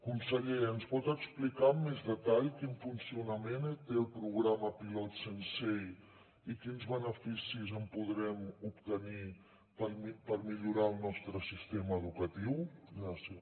conseller ens pot explicar amb més detall quin funcionament té el programa pilot sensei i quins beneficis en podrem obtenir per millorar el nostre sistema educatiu gràcies